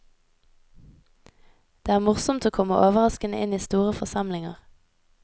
Det er morsomt å komme overraskende inn i store forsamlinger.